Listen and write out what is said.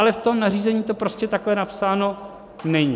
Ale v tom nařízení to prostě takhle napsáno není.